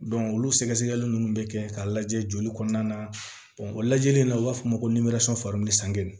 olu sɛgɛsɛgɛli nunnu bɛ kɛ k'a lajɛ joli kɔnɔna na o lajɛli la u b'a fɔ ko